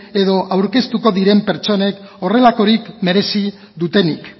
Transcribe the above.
edo aurkeztuko diren pertsonek horrelakorik merezi dutenik